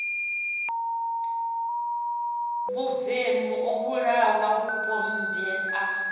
vhuvemu u vhulaha vhupombwe na